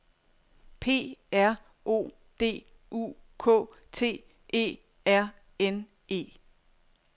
P R O D U K T E R N E